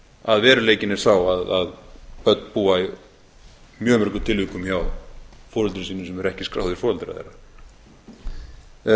að veruleikinn er sá að börn búa í mjög mörgum tilvikum hjá foreldrum sínum sem eru ekki skráðir foreldrar þeirra